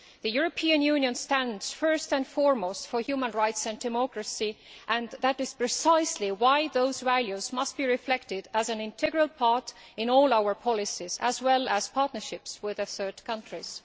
The European Union stands first and foremost for human rights and democracy, and that is precisely why those values must be reflected as an integral part in all our policies, as well as in our partnerships with third countries.